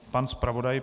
Pan zpravodaj.